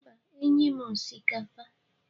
Mba, nye'm osikapa.